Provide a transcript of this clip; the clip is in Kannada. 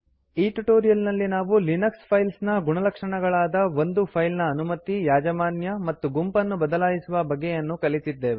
ಈ ಟ್ಯುಟೋರಿಯಲ್ ನಲ್ಲಿ ನಾವು ಲಿನಕ್ಸ್ ಫೈಲ್ಸ್ ನ ಗುಣಲಕ್ಷಣಗಳಾದ ಒಂದು ಫೈಲ್ ನ ಅನುಮತಿ ಯಾಜಮಾನ್ಯ ಮತ್ತು ಗುಂಪನ್ನು ಬದಲಾಯಿಸುವ ಬಗೆಯನ್ನು ಕಲಿತಿದ್ದೇವೆ